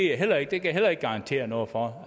jeg heller ikke heller ikke garantere noget om